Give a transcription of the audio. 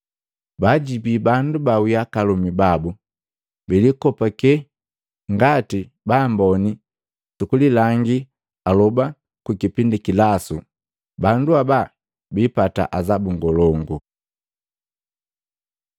Baajibi bandu bawii aka alomi babu, bilikopake ngati baamboni sukulilangi aloba ku kipindi kilasu, bandu haba bipata azabu ngolongu!”